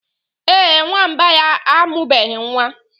Ee, Nwamba ya amụbeghi nwa.